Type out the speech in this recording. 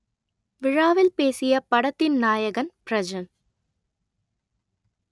விழாவில் பேசிய படத்தின் நாயகன் பிரஜன்